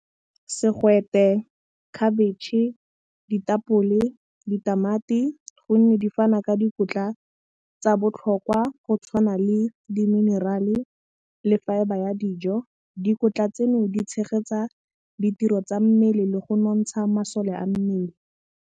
Segwete, khabetšhe, ditapole, ditamati gonne, di fana ka dikotla tsa botlhokwa go tshwana le di-mineral-e le fibre ya dijo. Dikotla tseno di tshegetsa ditiro tsa mmele le go nontsha masole a mmele.